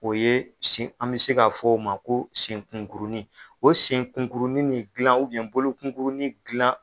O ye sin an bɛ se k'a fɔ o ma ko senkunkurunin, o senkunkurununin dilan bolokunkurunin dilan.